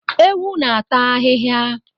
Ewu n'ata ahihia